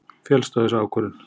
féllst á þessa ákvörðun.